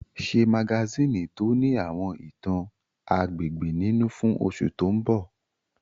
Ṣe magasíìnì tó ní àwọn ìtàn agbègbè nínú fún oṣù tó mbọ̀!